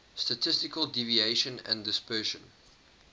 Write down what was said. statistical deviation and dispersion